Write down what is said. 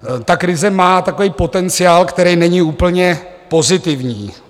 Ta krize má takový potenciál, který není úplně pozitivní.